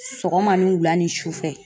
Sɔgɔma, ni wula, ni sufɛ.